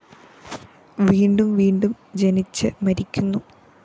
വീണ്ടും വീണ്ടും ജനിച്ച് മരിക്കുന്നു